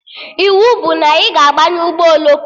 Iwu bụ na ị ga-abanye ụgbọ oloko!